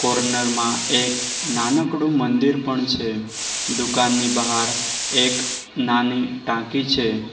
Corner માં એક નાનકડું મંદિર પણ છે દુકાનની બહાર એક નાની ટાંકી છે.